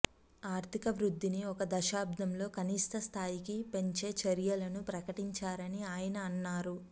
ఆర్థిక వృద్ధిని ఒక దశాబ్దంలో కనిష్ట స్థాయికి పెంచే చర్యలను ప్రకటించారని ఆయన అన్నారు